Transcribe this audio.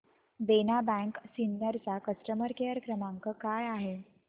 देना bank Sinnar चा customer care क्रमांक काय आहे